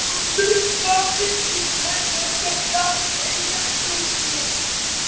Já það er mikill munur að geta staðið á haus